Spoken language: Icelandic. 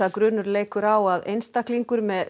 grunur leikur á að að einstaklingur með